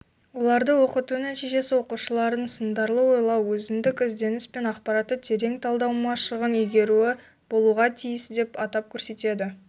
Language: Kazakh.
оларды оқыту нәтижесі оқушылардың сындарлы ойлау өзіндік ізденіс пен ақпаратты терең талдау машығын игеруі болуға тиісдеп атап көрсетеді